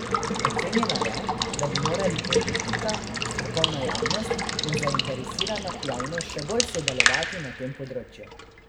Ocenila je, da bi morali politika, strokovna javnost in zainteresirana javnost še bolj sodelovati na tem področju.